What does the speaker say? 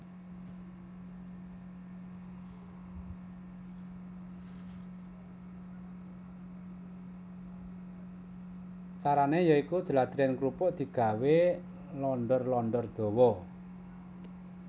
Carané ya iku jladrèn krupuk digawé londor londor dawa